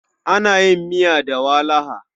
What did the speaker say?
Ana yin miya da walaha.